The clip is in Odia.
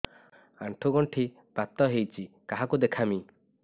ଆଣ୍ଠୁ ଗଣ୍ଠି ବାତ ହେଇଚି କାହାକୁ ଦେଖାମି